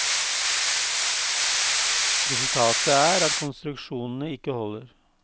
Resultatet er at konstruksjonene ikke holder.